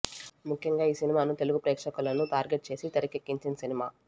ముఖ్యంగా ఈ సినిమాను తెలుగు ప్రేక్షకులను టార్గెట్ చేసి తెరకెక్కించిన సినిమా